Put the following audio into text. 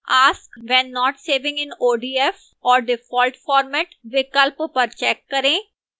ask when not saving in odf or default format विकल्प पर check करें